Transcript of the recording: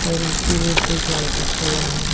और उसी रोड पे एक लड़का चल रहा है।